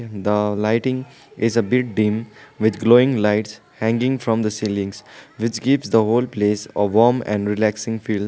the lighting is a bit dim with glowing lights hanging from the ceilings which gives the whole place a warm and relaxing feel.